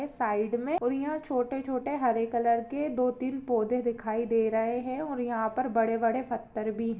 side मे और यहाँ छोटे-छोटे हरे कलर के दो तीन पौधे दिखाई दे रहे है और यहाँ पर बड़े-बड़े पत्थर भी--